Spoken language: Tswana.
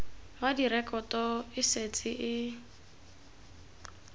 wa direkoto e setse e